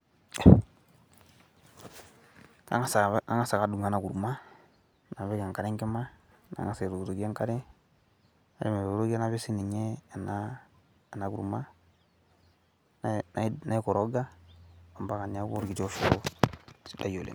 angas ake adumu ena kurma napik enkare enkima, nangas aitokitokie enkare, napik sii ninye ena kurma. naikoroga mpaaka neeku orkiti oshoro sidai oleng.